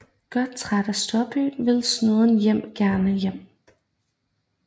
Godt træt af storbyen vil Snuden gerne hjem